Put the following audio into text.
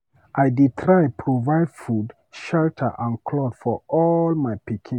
I dey try provide food, shelter and clothes for all my pikin.